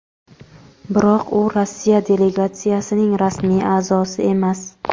biroq u Rossiya delegatsiyasining rasmiy aʼzosi emas.